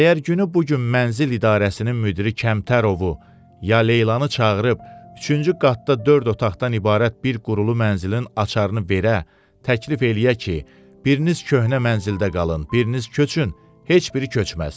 Əgər günü bu gün mənzil idarəsinin müdiri Kəmtərovu ya Leylanı çağırıb, üçüncü qatda dörd otaqdan ibarət bir qurulu mənzilin açarını verə, təklif eləyə ki, biriniz köhnə mənzildə qalın, biriniz köçün, heç biri köçməz.